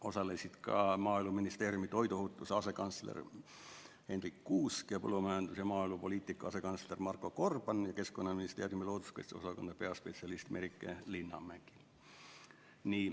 Osalesid ka Maaeluministeeriumi toiduohutuse asekantsler Hendrik Kuusk, põllumajandus- ja maaelupoliitika asekantsler Marko Gorban ning Keskkonnaministeeriumi looduskaitse osakonna peaspetsialist Merike Linnamägi.